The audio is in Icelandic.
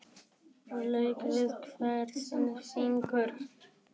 Lék við hvern sinn fingur.